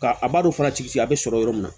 Ka a b'a fana ci sigi a bɛ sɔrɔ yɔrɔ min na